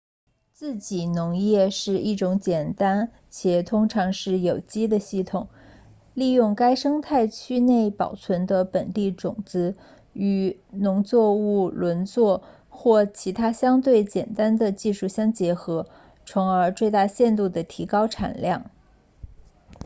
自给农业是一种简单且通常是有机的系统利用该生态区内保存的本地种子与农作物轮作或其他相对简单的技术相结合从而最大限度地提高产量